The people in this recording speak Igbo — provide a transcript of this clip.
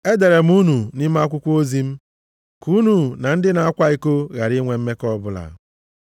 E dere m unu nʼime akwụkwọ ozi m, ka unu na ndị na-akwa iko ghara inwe mmekọ ọbụla.